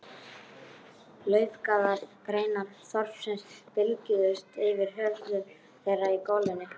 Laufgaðar greinar þorpsins bylgjuðust yfir höfðum þeirra í golunni.